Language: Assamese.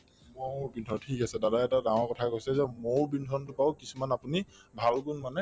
মৌৰ বিন্ধন ঠিক আছে দাদাই এটা ডাঙৰ কথাই কৈছে যে মৌৰ বিন্ধতোৰ পৰাও কিছুমান আপুনি ভাল গুণ মানে